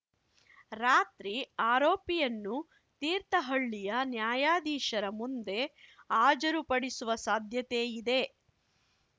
ರಾತ್ರಿ ಆರೋಪಿಯನ್ನು ತೀರ್ಥಹಳ್ಳಿಯ ನ್ಯಾಯಾಧೀಶರ ಮುಂದೆ ಹಾಜರುಪಡಿಸುವ ಸಾಧ್ಯತೆ ಇದೆ